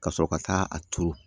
Ka sɔrɔ ka taa a turu